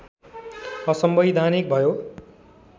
असंवैधानिक भयो